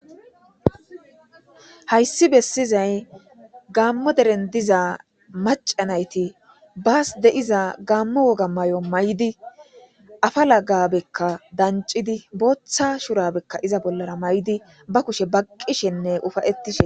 Hayssi bessizay gammo deren diza macanayti baas deiza gaammo woga may'o may'di afa lagabekka dancidi booththa shurabekka iza bollara ma'di ba kushe baqqishenne ufayettishe.